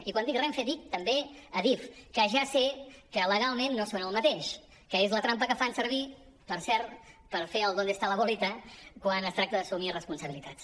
i quan dic renfe dic també adif que ja sé que legalment no són el mateix que és la trampa que fan servir per cert per fer el dónde está la bolita quan es tracta d’assumir responsabilitats